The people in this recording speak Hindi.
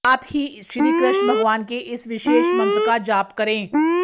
साथ ही श्री कृष्ण भगवान के इस विशेष मंत्र का जाप करें